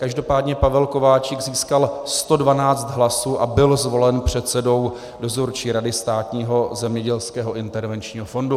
Každopádně Pavel Kováčik získal 112 hlasů a byl zvolen předsedou Dozorčí rady Státního zemědělského intervenčního fondu.